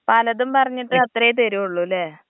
പലതും പറഞ്ഞിട്ട് അത്രെ തരുള്ളുല്ലെ.